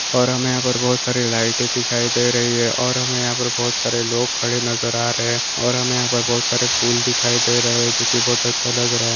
और हमे यहाँ पर बहुत सारे लाइटे दिखाई दे रही है और हमे यहाँ पे बहुत सारे लोग खड़े नजर आ रहे। और हमे यहाँ पर बहुत सारे फूल दिखाई दे रहे है। जोकि बहुत अच्छा लग रहा हे।